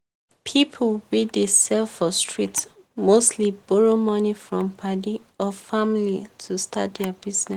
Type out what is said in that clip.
people wey dey sell for street mostly borrow money from padi or family to start their business.